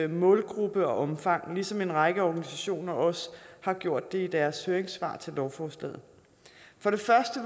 målgruppe og omfang ligesom en række organisationer også har gjort det i deres høringssvar til lovforslaget